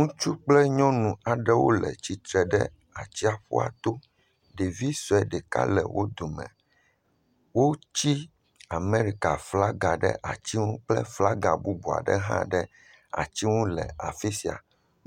Ŋutsu kple nyɔnu aɖewo le tsitre ɖe atsiaƒua to, ɖevi sɔe ɖeka le wo dome, wotsi Amɛrika flaga ɖe ati ŋu kple flaga bubu aɖe hã ɖe ati ŋu le afi sia.